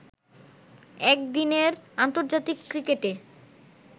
একদিনের আন্তর্জাতিক ক্রিকেটে